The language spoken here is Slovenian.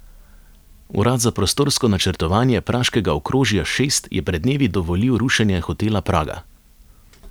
Urad za prostorsko načrtovanje praškega okrožja šest je pred dnevi dovolil rušenje hotela Praga.